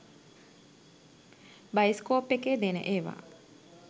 Bioscope එකේ දෙන ඒවා.